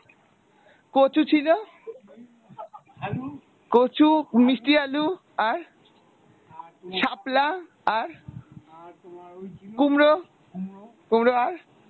কচু ছিলো কচু মিষ্টি আলু আর শাপলা আর কুমড়ো কুমড়ো আর?